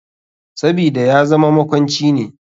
Sabida yazama makwanci ne.